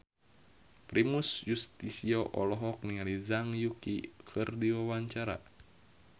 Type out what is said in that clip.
Primus Yustisio olohok ningali Zhang Yuqi keur diwawancara